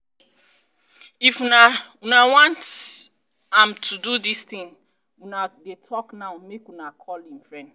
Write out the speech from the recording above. if una una want am to do dis thing una dey talk now make una call im friend